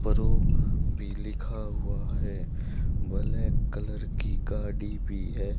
पर वो भी लिखा हुआ है बलैक कलर की गाड़ी भी है।